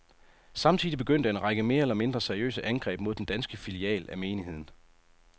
Samtidig begyndte en række mere eller mindre seriøse angreb mod den danske filial af menigheden.